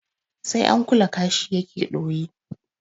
Sai an kula kashi ya ke ɗoyi.